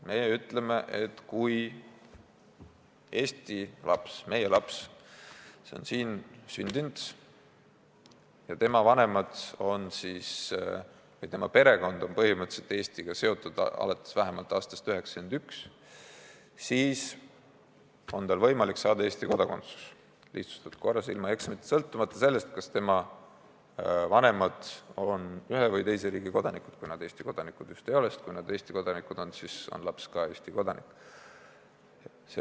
Meie ütleme, et kui tegemist on Eesti lapsega, meie lapsega, kes on siin sündinud ja kelle vanemad või perekond on põhimõtteliselt olnud Eestiga seotud vähemalt aastast 1991, siis on tal võimalik saada Eesti kodakondsus lihtsustatud korras ilma eksameid tegemata, sõltumata sellest, millise riigi kodanikud on tema vanemad – kui nad just Eesti kodanikud ei ole, sest kui nad on Eesti kodanikud, siis on ka laps juba Eesti kodanik.